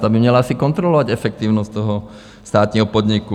Ta by měla asi kontrolovat efektivnost toho státního podniku.